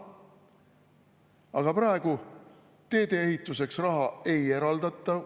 Aga praegu teedeehituseks raha ei eraldata.